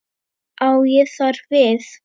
Á ég þar við